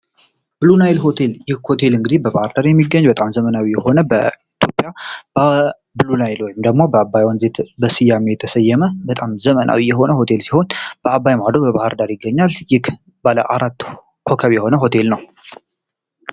የብሉናይልይ ሆቴል እንግዲህ በባህር ዳር የሚገኝ በጣም ዘመናዊ የሆነ በኢትዮጵያ ወይም ደግሞ በአባይ ወንዝ የተሰየመ ዘመናዊ የሆነ ሲሆን በባህር ዳር በአባይ ማዶ ይገኛል ይህ ባለ አራት ኮከብ የሆነ ሆቴል ነው።